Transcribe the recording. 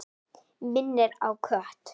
Minnir á kött.